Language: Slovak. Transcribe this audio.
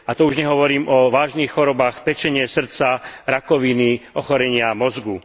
A to už nehovorím o vážnych chorobách pečene, srdca, rakoviny či ochorení mozgu.